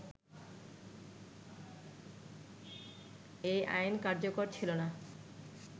এই আইন কার্যকর ছিলনা